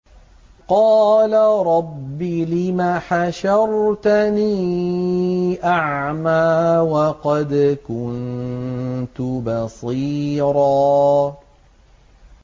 قَالَ رَبِّ لِمَ حَشَرْتَنِي أَعْمَىٰ وَقَدْ كُنتُ بَصِيرًا